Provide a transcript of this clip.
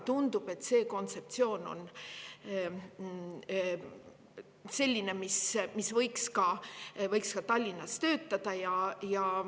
Tundub, et see kontseptsioon võiks ka Tallinnas töötada.